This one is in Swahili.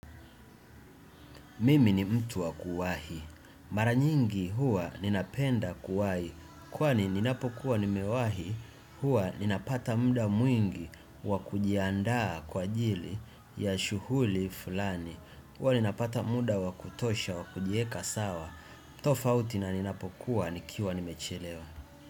Mimi ni mtu wakuwahi. Mara nyingi huwa ninapenda kuwahi. Kwani ninapokuwa nimewahi, huwa ninapata muda mwingi wakujiandaa kwa ajili ya shughuli fulani. Huwa ninapata muda wakutosha wa kujiweka sawa. Tofauti na ninapokuwa nikiwa nimechelewa.